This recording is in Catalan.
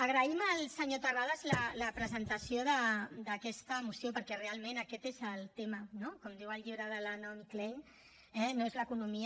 agraïm al senyor terrades la presentació d’aquesta moció perquè realment aquest és el tema no com diu el llibre de la naomi klein eh no és l’economia